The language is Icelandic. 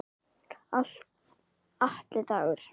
Atli Dagur.